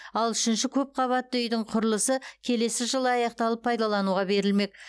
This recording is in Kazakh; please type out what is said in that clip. ал үшінші көп қабатты үйдің құрылысы келесі жылы аяқталып пайдалануға берілмек